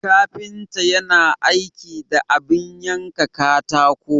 Kafinta yana aiki da abin yanka katako.